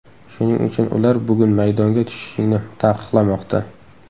Shuning uchun ular bugun maydonga tushishingni taqiqlamoqda”.